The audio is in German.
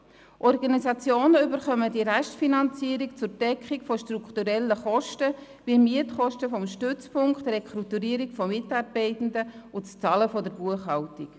Organisationen erhalten diese Restfinanzierung zur Deckung von strukturellen Kosten wie Mietkosten des Stützpunkts, Rekrutierung von Mitarbeitenden und das Bezahlen der Buchhaltung.